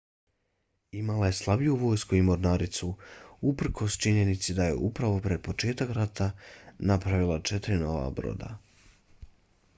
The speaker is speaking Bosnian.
imala je slabiju vojsku i mornaricu uprkos činjenici da je upravo pred početak rata napravila četiri nova broda